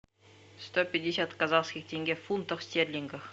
сто пятьдесят казахских тенге в фунтах стерлингов